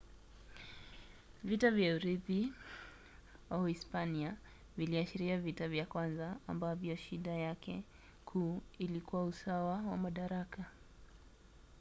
vita vya urithi wa uhispania viliashiria vita vya kwanza ambavyo shida yake kuu ilikuwa usawa wa madaraka